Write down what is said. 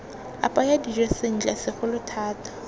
apaya dijo sentle segolo thata